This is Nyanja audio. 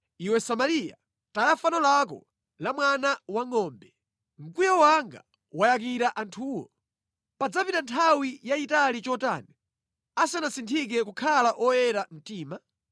Iwe Samariya, taya fano lako la mwana wangʼombe! Mkwiyo wanga wayakira anthuwo. Padzapita nthawi yayitali chotani asanasinthike kukhala oyera mtima?